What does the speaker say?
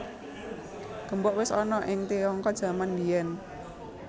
Gembok wis ana ing Tiongkok jaman mbiyèn